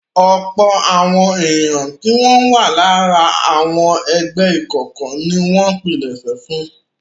Ọ̀pọ̀ àwọn ènìyàn tí wọn wà lára àwọn ẹgbẹ́ ìkọ̀kọ̀ ni wọ́n pilẹ̀sẹ̀ fún un.